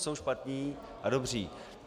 Jsou špatní a dobří.